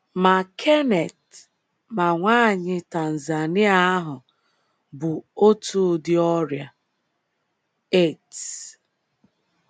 Ma Kenneth ma nwanyị Tanzania ahụ bu otu ụdị ọrịa: AIDS.